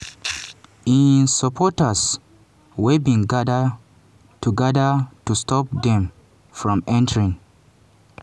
im supporters wey bin gada to gada to stop dem from entering.